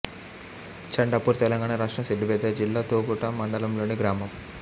చండాపూర్ తెలంగాణ రాష్ట్రం సిద్ధిపేట జిల్లా తొగుట మండలంలోని గ్రామం